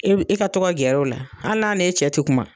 E bi e ka to ka gɛrɛ u la hali n'a n'e cɛ ti kuma.